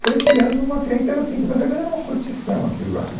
Foi criando uma clientela, assim, que na verdade era uma curtição aquilo lá, né